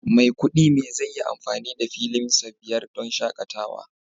Maikudi me zai yi amfani da filinsa biyar don shakatawa